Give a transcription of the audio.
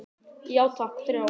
Já takk, þrjá.